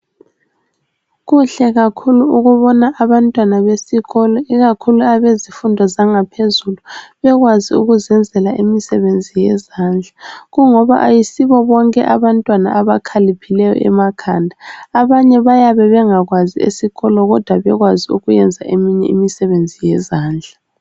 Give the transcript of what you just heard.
Kuhle kakhulu ukubona abantwana besikolo ikakhulu abezifundo zangaphezulu asebekwazi ukuzenzela imisebenzi yezandla. Kungoba ayisibo bonke abantwana abakhaliphileyo emakhanda, abanye bayabe bengakwazi esikolo kodwa bekwazi ukuyenza eminye imisebenzi yezandla.